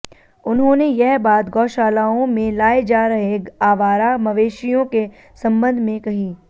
उन्होंने यह बात गौशालाओं में लाए जा रहे आवारा मवेशियों के संबंध में कही